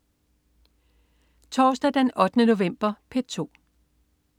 Torsdag den 8. november - P2: